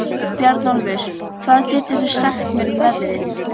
Bjarnólfur, hvað geturðu sagt mér um veðrið?